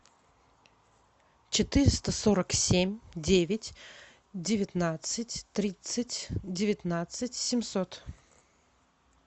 четыреста сорок семь девять девятнадцать тридцать девятнадцать семьсот